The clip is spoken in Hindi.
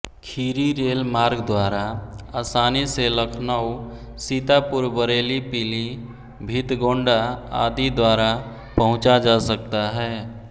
खीरी रेल मार्ग द्वारा आसानी से लखनऊ सीतापुरबरेलीपीलीभीतगोंडा आदि द्वारा पहुंचा जा सकता है